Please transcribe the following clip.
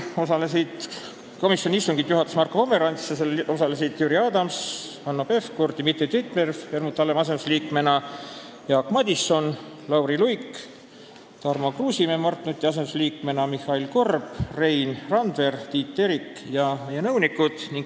Komisjoni istungit juhatas Marko Pomerants ja seal osalesid Jüri Adams, Hanno Pevkur, Dmitri Dmitrijev Helmut Hallemaa asendusliikmena, Jaak Madison, Lauri Luik, Tarmo Kruusimäe Mart Nuti asendusliikmena, Mihhail Korb, Rein Randver, Tiit Terik ning meie nõunikud.